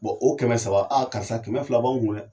Bɔn o kɛmɛ saba a karisa kɛmɛ fila b'anw kun dɛ